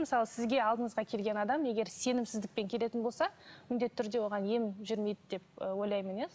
мысалы сізге алдыңызға келген адам егер сенімсіздікпен келетін болса міндетті түрде оған ем жүрмейді деп ы ойлаймын иә